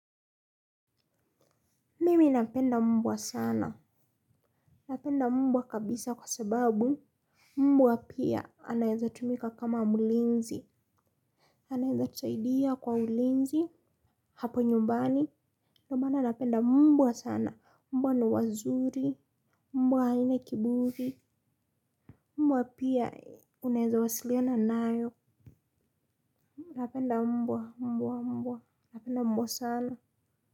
Mimi napenda mbwa sana. Napenda mbwa kabisa kwa sababu mbwa pia anaweza tumika kama mlinzi. Anaweza tusaidia kwa ulinzi hapo nyumbani. Ndio maana napenda mbwa sana. Mbwa ni wazuri. Mbwa haina kiburi. Mbwa pia unaweza wasiliana nayo. Napenda mbwa, mbwa, mbwa. Napenda mbwa sana.